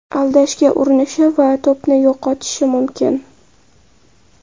Aldashga urinishi va to‘pni yo‘qotishi mumkin.